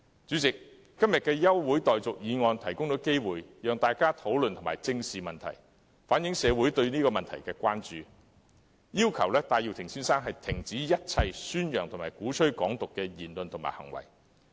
主席，今天的休會待續議案提供機會，讓大家討論和正視這個問題，同時反映社會的關注，要求戴耀廷先生停止一切宣揚和鼓吹"港獨"的言論和行為。